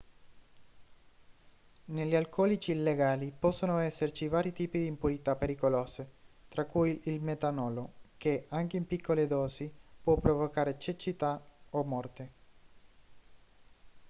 negli alcolici illegali possono esserci vari tipi di impurità pericolose tra cui il metanolo che anche in piccole dosi può provocare cecità o morte